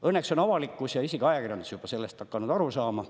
Õnneks on avalikkus ja isegi ajakirjandus juba hakanud sellest aru saama.